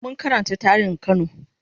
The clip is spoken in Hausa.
mun Karanta tarihin kano